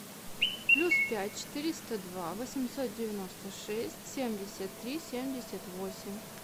плюс пять четыреста два восемьсот девяносто шесть семьдесят три семьдесят восемь